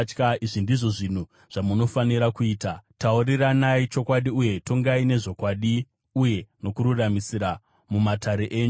Izvi ndizvo zvinhu zvamunofanira kuita: Tauriranai chokwadi, uye tongai nezvokwadi uye nokururamisira mumatare enyu